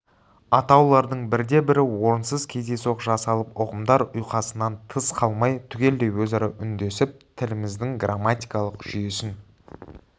атаулардың бірде-бірі орынсыз кездейсоқ жасалып ұғымдар ұйқасуынан тыс қалмай түгелдей өзара үндесіп тіліміздің грамматикалық жүйесін